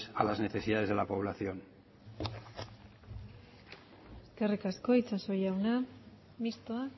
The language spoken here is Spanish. a las necesidades de la población eskerrik asko itsaso jauna mistoa